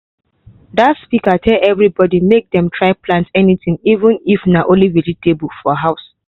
that speaker tell everybody make dem try plant something even if na only vegetable for house.